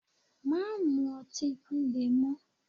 Má mu ọtí líle mọ.